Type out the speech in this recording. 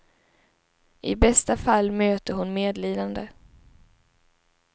I bästa fall möter hon medlidande.